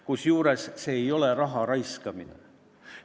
Kusjuures see ei ole raha raiskamine.